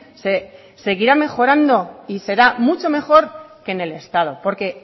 se seguirá mejorando y será mucho mejor que en el estado porque